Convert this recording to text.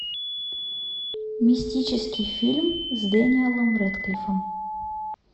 мистический фильм с дэниэлом рэдклиффом